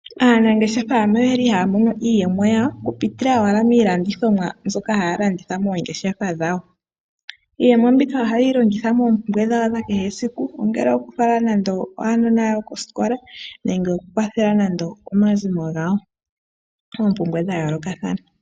Aanangeshefa ano oye li haya mono iiyemo yawo oku pitila owala miilandithomwa mbyoka haya landitha moongeshefa dhawo. Iiyemo mbika ohaye yi longitha moompumbwe dhawo dha kehe esiku, ongele oku fala nande aanona yawo koosikola nenge oku kwathela nando omazimo gawo moompumbwe dha yoolokathana.